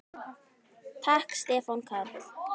Takk Stefán Karl.